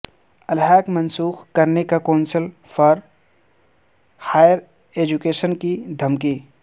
الحاق منسوخ کرنے کونسل فار ہائیر ایجوکیشن کی دھمکی